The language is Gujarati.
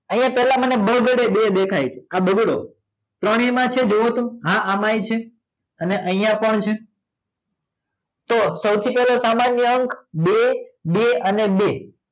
અહીંયા મને પહેલા બગડે બે દેખાય છે આ બગડ્યો ત્રણેયમાં છે જોવો તો હા અમાય છે અને અહીંયા પણ છે તો સૌથી પહેલા સામાન્ય અંક બે બે અને બે